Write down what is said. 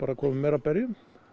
komi meira af berjum